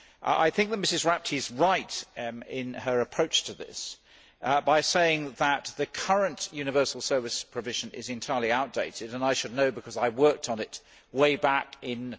I think that Mrs Rapti is right in her approach to this, in saying that the current universal service provision is entirely outdated. I should know because I worked on it way back in